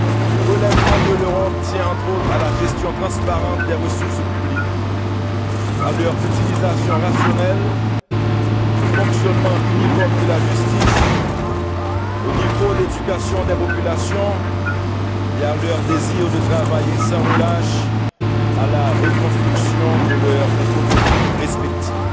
Le relèvement de l'Europe tient, entre autres, à la gestion transparente des ressources publiques, à leur utilisation rationnelle, au fonctionnement univoque de la justice, au niveau d'éducation des populations et à leur désir de travailler sans relâche à la reconstruction de leurs économies respectives.